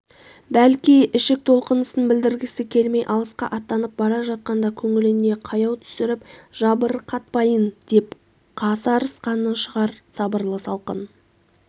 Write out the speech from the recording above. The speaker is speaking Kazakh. бәлки ішік толқынысын білдіргісі келмей алысқа аттанып бара жатқанда көңіліне қаяу түсіріп жабырқатпайын деп қасарысқаны шығар сабырлы салқын